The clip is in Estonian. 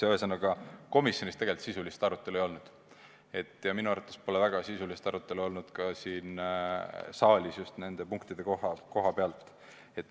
Ühesõnaga, komisjonis tegelikult sisulist arutelu ei olnud ja minu arvates pole väga sisulist arutelu olnud ka siin saalis – pean silmas just neid otsuse punkte.